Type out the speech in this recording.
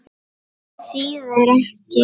Hvað þýðir ekki?